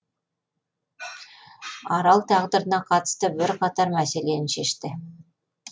арал тағдырына қатысты бірқатар мәселені шешті